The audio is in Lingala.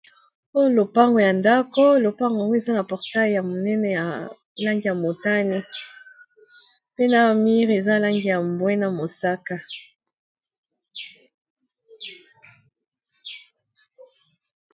Oyo lopango ya ndako lopango yango eza na portail ya monene ya langi ya motani pe na mire eza langi ya mbwe na mosaka.